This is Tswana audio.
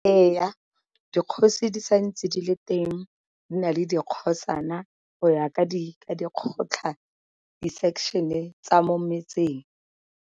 Ee, dikgosi di sa ntse di le teng di na le dikgosana go ya ka di kgotlha di-section-e tsa mo metseng.